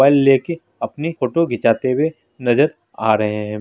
ले कर अपनी फोटो खीचाते नजर आ रहे है।